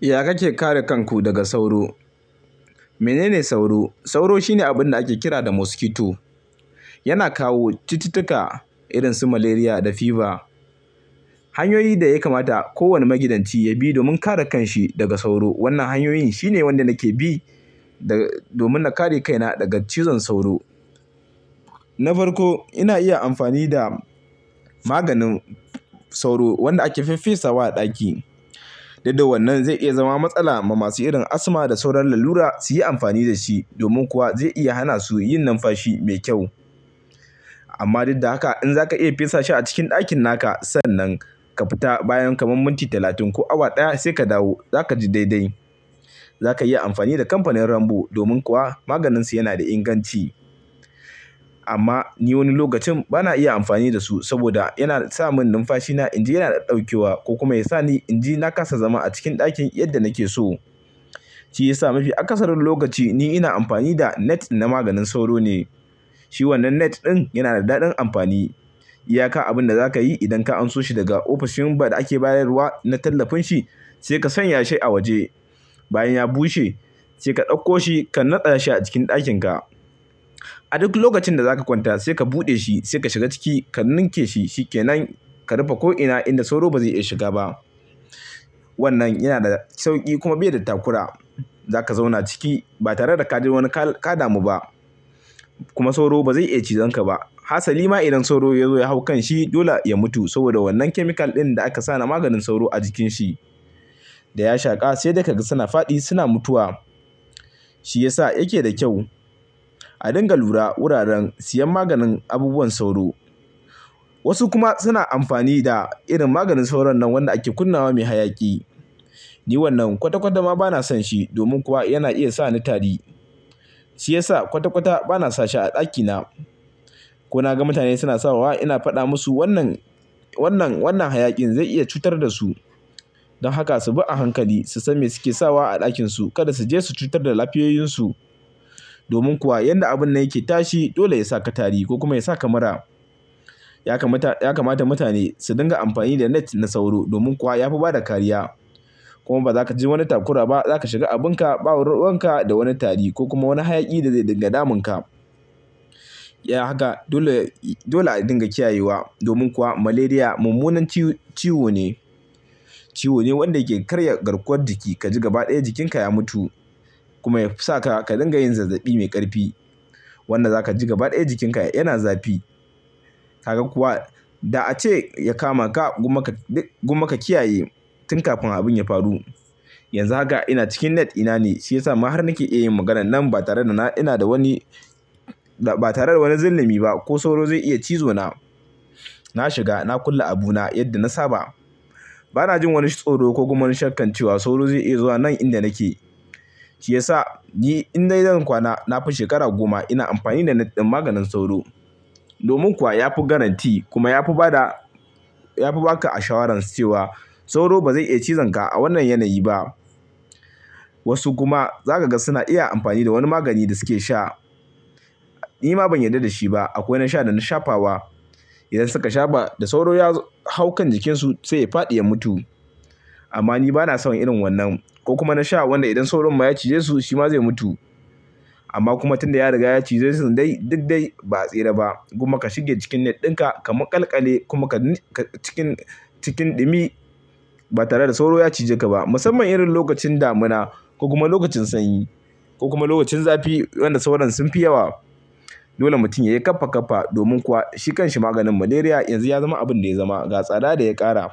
Ya kake kare kanku daga sauro? Menene sauro? Sauro shine abun da ake kira da "mosquito". Yana kawo cututtuka irin su malaria da fever. Hanyoyi da ya kamata kowane magidanci ya bi domin kare kanshi daga sauro. Wanna hanyoyin shine wanda nake bi da domin na kare kaina daga cizon sauro. Na farko ina iya amfani da maganin sauro wanda ake fiffesawa a ɗaki. Sai da wannan zai iya zama matsala ma masu irin asthma da sauran lallura su yi amfani da shi domin kuwa zai iya hana su yin numfashi mai kyau. Amma duk da haka in zaka iya fesa shi a cikin ɗakin naka sannan ka fita bayan kamar minti talatin ko awa ɗaya sai ka dawo, zaka ji daidai. Zaka iya amfani da kamfanin Rambo domin kuwa maganin su yana da inganci. Amma ni wani lokacin bana iya amfani da su saboda yana sa mun numfashi na in ji yana ɗauke wa ko kuma ya sa ni in ji na kasa zama a cikin ɗakin yadda nake so. Shi ya sa mafi akasarin lokaci ni ina amfani da net na maganin sauro ne. Shi wannan net ɗin yana da daɗin amfani. Iyaka abin da zaka yi idan ka anso shi daga ofishin ba da ake bayar da ruwa na tallafin shi sai ka sanya shi a waje. Bayan ya bushe sai ka ɗauko shi ka naɗa shi a cikin ɗakin ka. A duk lokacin da zaka kwanta sai ka buɗe shi, sai ka shiga ciki, ka ninke shi, shi kenan. Ka rufa ko'ina inda sauro ba zai iya shiga ba. Wannan yana da sauƙi kuma bai da takura. Zaka zauna ciki ba tare da ka ji wani, ka ɗamu ba. Kuma sauro ba zai iya cizon ka ba. Hasari ma idan sauro ya zo ya hau kanshi dole ya mutu saboda wannan chemical ɗin da aka sa na maganin sauro a jikin shi. Da ya shaƙa sai da kaga suna fadi suna mutuwa. Shi ya sa yake da kyau. A dinga lura wuraren siyan maganin abubuwan sauro. Wasu kuma suna amfani da irin maganin sauron nan wanda ake kunna wa mai hayaƙi. Ni wannan kwata-kwata ma bana son shi domin kuwa yana iya sa ni tari. Shi ya sa kwata-kwata bana sashi a ɗakina. Ko na ga mutane suna sawa ina faɗa musu wannan, wannan, wannan hayaƙin zai iya cutar da su. Don haka su bi a hankali su san me suke sawa a ɗakin su. Kada su je su cutar da lafiyayun su. Domin kuwa yadda abun nan yake tashi dole ya saka tari ko kuma ya saka mura. Ya kamata, ya kamata mutane su dinga amfani da net na sauro domin kuwa ya fi bada kariya. Kuma ba zaka ji wani takura ba. Zaka shiga abun ka, ɓa wani ruwan ka da wani tari ko kuma wani hayaƙi da ya dinga damun ka. Ya haka. Dole, dole a dinga kiyayewa domin kuwa malaria mummunan ciwo, ciwo ne. Ciwo ne wanda ke karya garkuwar jiki. Ka ji gaba ɗaya jikinka ya mutu kuma ya fi sa ka ka dinga yin zazzaɓi mai ƙarfi wanda zaka ji gaba ɗaya jikin ka yana zafi. Kaga kuwa da a ce ya kama ka gunma ka, gunma ka kiyaye tun kafin abun ya faru. Yanzu haka ina cikin net ina ne shi ya sa ma har nake iya yin maganan nan ba tare da ina da wani, ba tare da wani zillami ba ko sauro zai iya cizo na. Na shiga na kulle abu na yadda na saba. Bana jin wani tsoro ko kuma wani shakkan cewa sauro zai iya zuwa nan inda nake. Shi ya sa ni in dai zan kwana na fi shekara goma ina amfani da net ɗin maganin sauro. Domin kuwa yafi guarantee kuma yafi bada, yafi ba ka assurance cewa sauro bazai iya cizon ka a wannan yanayi ba. Wasu kuma zaka ga suna iya amfani da wani magani da suke sha. Ni ma ban yarda da shi ba. Akwai na sha da na shafa wa. Idan suka shafa da sauro ya hau kan jikinsu sai ya faɗi ya mutu. Amma ni bana son irin wannan ko kuma na sha wanda idan sauron ma ya cije su shi ma zai mutu. Amma kuma tun da ya riga ya cije su dai duk dai ba tsira ba. Gonma ka shige cikin net ɗin ka, ka maƙalƙale kuma ka, cikin, cikin ɗumi ba tare da sauro ya cije ka ba. Musamman irin lokacin damuna ko kuma lokacin sanyi ko kuma lokacin zafi wanda sauron sun fi yawa. Dole mutum ya yi ƙafa-ƙafa domin kuwa shi kanshi maganin malaria yanzu ya zama abun da ya zama ga tsada da ya ƙara.